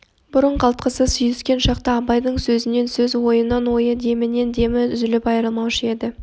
бұрын қалтқысыз сүйіскен шақта абайдың сөзінен сөз ойынан ойы демінен демі үзіліп айрылмаушы еді